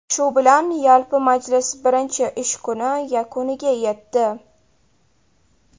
Shu bilan yalpi majlis birinchi ish kuni yakuniga yetdi.